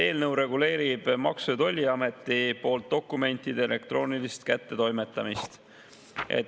Eelnõu reguleerib Maksu- ja Tolliameti poolt dokumentide elektroonilist kättetoimetamist.